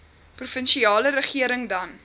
provinsiale regering dan